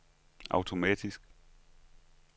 automatisk